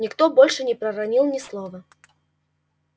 никто больше не проронил ни слова